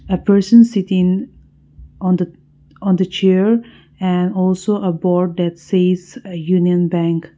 a person sitting on the on the chair and also a board that says uh union bank.